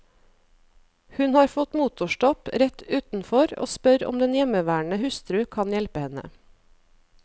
Hun har fått motorstopp rett utenfor og spør om den hjemmeværende hustru kan hjelpe henne.